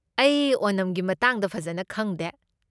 ꯑꯩ ꯑꯣꯅꯝꯒꯤ ꯃꯇꯥꯡꯗ ꯐꯖꯟꯅ ꯈꯪꯗꯦ꯫